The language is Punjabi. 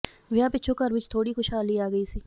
ਵਿਆਹ ਪਿੱਛੋਂ ਘਰ ਵਿਚ ਥੋੜ੍ਹੀ ਖੁਸ਼ਹਾਲੀ ਆ ਗਈ ਸੀ